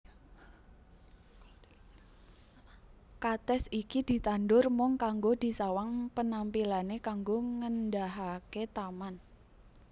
Katès iki ditandur mung kanggo disawang penampilané kanggo ngèndahaké taman